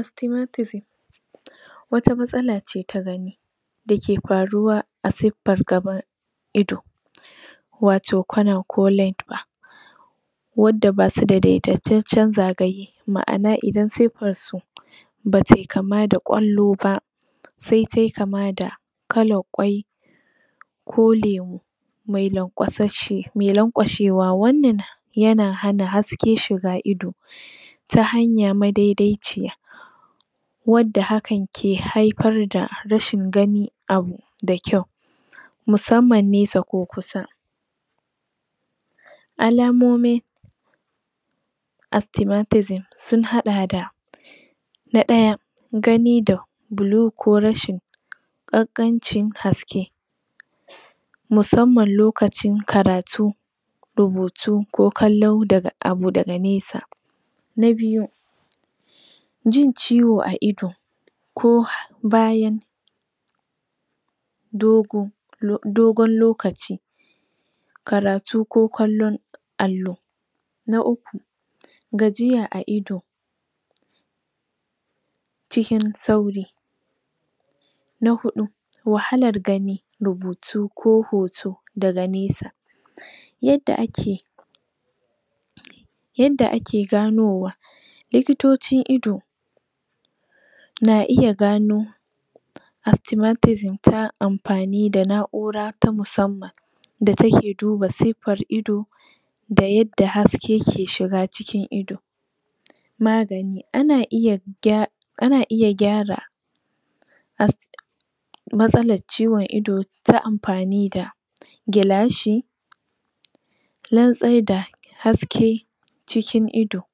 Astimatizim wata matsala tagani dake faruwa asuffan gaban ido wato kwana ko led ba wanda basu da dedaiceccen zagaye ma'ana idan suffarsu batai kama da ƙwalloba se tai kamada kalan kwai ko lemu mai lanƙwasheshshe mai lanƙwashewa wannan yana hana haske shiga ido ta hanya madedai ciya wadda hakan ke haifar da rashin ganin abu da kyau musamman nesa ko kusa alamomi astimatizim sun haɗa da na ɗaya ganida bulu ko rashin ƙanƙanci haske musamman lokacin karatu rubutu ko kallon abu daga nesa na biyu jin ciwo a ido ko bayan dogo dogon lokaci karatu ko kallon allo na uku gajiya a ido cikin sauri na huɗu wahalar gani rubutu ko hoto daga nesa yadda ake yadda ake ganowa likitocin ido na iya gano astimatizim ta am fani da na ura ta musamman da take duba sufar ido da yadda haskeke shiga cikin ido magani, ana iya gya ana iya gyara as matsalan ciwon ido ta amfani da gilashi lantsaidai haske cikin ido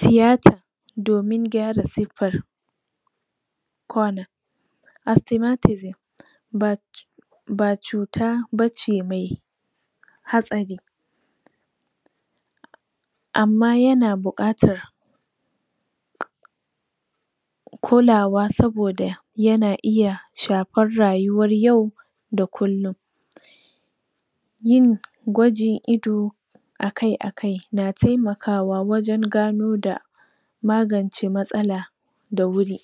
tiyata domin gyara suffan kon astimatik ba ba cuta bace mai hatsari amma yana buƙatar kulawa saboda yana iya shafar rayuwar yau da kullun yin gwajin ido akai, akai na temaka kawa wajan gano da magance matsala da wuri